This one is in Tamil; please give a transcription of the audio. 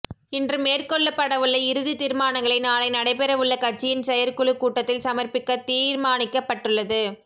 இன்று மேற்கொள்ளப்படவுள்ள இறுதித் தீர்மானங்களை நாளை நடைபெறவுள்ள கட்சியின் செயற்குழுக் கூட்டத்தில் சமர்ப்பிக்க தீர்மானிக்கப்பட்டுள்ளது